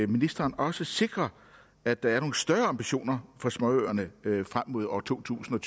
ministeren også sikrer at der er nogle større ambitioner for småøerne frem mod år totusinde